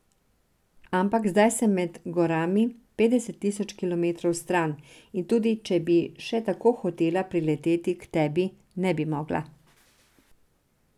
Ampak zdaj sem med gorami, petdeset tisoč kilometrov stran, in tudi če bi še tako hotela prileteti k tebi, ne bi mogla.